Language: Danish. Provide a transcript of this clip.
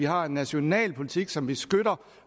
har en national politik som vi skøtter